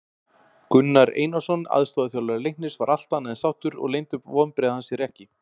Gunnar Einarsson aðstoðarþjálfari Leiknis var allt annað en sáttur og leyndu vonbrigði hans sér ekki.